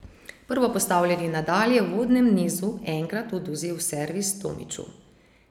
Prvopostavljeni Nadal je v uvodnem nizu enkrat odvzel servis Tomiću.